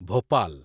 Bhopal